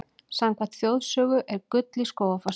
Samkvæmt þjóðsögu er gull í Skógafossi.